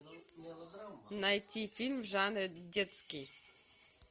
найти фильм в жанре детский